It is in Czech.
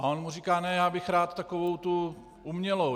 A on mu říká: "Ne, já bych rád takovou tu umělou.